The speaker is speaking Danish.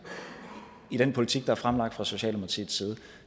i den politik der er fremlagt fra socialdemokratiets side